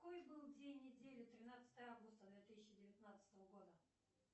какой был день недели тринадцатое августа две тысячи девятнадцатого года